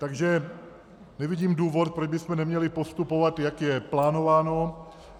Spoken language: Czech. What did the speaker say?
Takže nevidím důvod, proč bychom neměli postupovat, jak je plánováno.